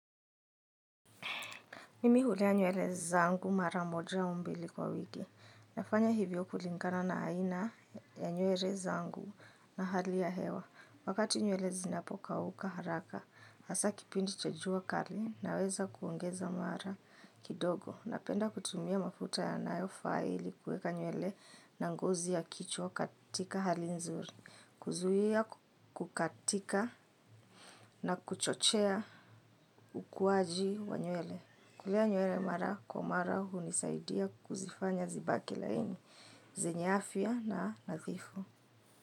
Mimi hulea nywele zangu mara moja au mbili kwa wiki. Nafanya hivyo kulingana na aina ya nywele zangu na hali ya hewa. Wakati nywele zinapokauka haraka, hasa kipindi cha jua kali na weza kuongeza mara kidogo. Napenda kutumia mafuta ya nayo faa ili kueka nywele na ngozi ya kichwa katika hali nzuri. Kuzuia kukatika na kuchochea ukuaji wa nywele. Kulea nywele mara kwa mara hunisaidia kuzifanya zibaki laini, zenye afya na nathifu.